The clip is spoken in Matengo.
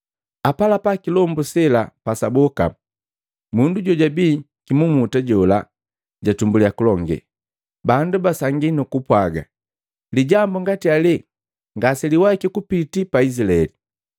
Apalapa kilombu sela pasaboka, mundu jojabii kimumuta jola jatumbuliya kulonge. Bandu basangia nukupwaaga, “Lijambu ngati ale ngaseliwaiki kupitii pa Izilaeli!”